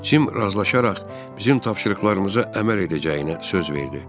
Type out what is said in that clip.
Cim razılaşaraq bizim tapşırıqlarımıza əməl edəcəyinə söz verdi.